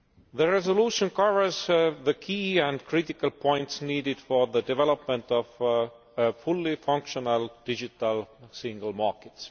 The resolution covers the key and critical points needed for the development of a fully functioning digital single market.